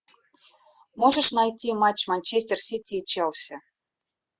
можешь найти матч манчестер сити и челси